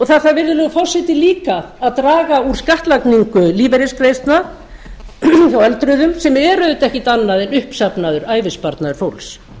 það þarf virðulegur forseti líka að draga úr skattlagningu lífeyrisgreiðslna hjá öldruðum sem er auðvitað ekkert annað en uppsafnaður ævisparnaður fólks